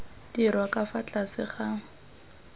dirwa ka fa tlase ga